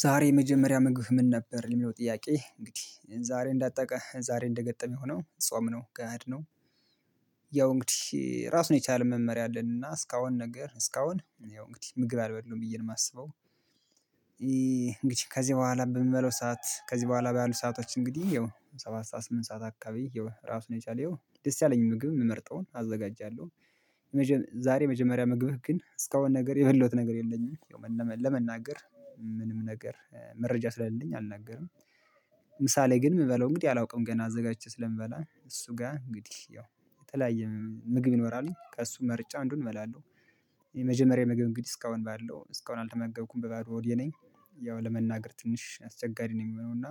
ዛሬ የመጀመሪያ ምግብህ ምን? ነበር ለሚለው ጥያቄ እንግዲህ ዛሬ እንዳጣቀ ዛሬ እንደአጋጣሚ ሆኖ ጾም ነው ጋድ ነው። ያው እንግዲህ ራሱን የቻለ መመሪያ አለንና እስካሁን ነገር እስካሁን ያው እንግዲህ ምግብ አልበላሁም ብዬ ነው የማስበው። እንግዲህ ከዚህ በኋላ በምበላው ሰዓት ከዚህ በኋላ ባሉ ሰአቶች እንግዲህ ያው ሰባት ሰዓት ስምንት ሰዓት አካባቢ ያው ራሱን የቻለ ያው ደስ ያለኝ ምግብ የምመርጠውን አዘጋጃለሁ። ዛሬ የመጀመሪያ ምግብህ ግን እስካሁን ነገር የበላዉት ነገር የለኝም ለመናገር ምንም ነገር መረጃ ስለሌለኝ አልናገርም። ምሳሌ ግን የምበለው እንግዲህ አላውቅም ገና አዘጋጅቼ ስለምበላ እሱ ጋር እንግዲህ ያው የተለያየ ምግብ ይኖራል ከእሱ መርጬ አንዱን እበላለሁ። የመጀመሪያ ምግብ እንግዲህ እስካሁን ባለው እስካሁን አልተመገብኩም በባዶ ሆዴ ነኝ። ያው ለመናገር ትንሽ አስቸጋሪ ነው የሚሆነው እና።